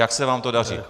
Jak se vám to daří.